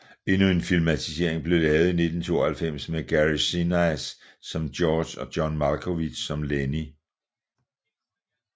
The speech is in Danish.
Endnu en filmatisering blev lavet i 1992 med Gary Sinise som George og John Malkovich som Lennie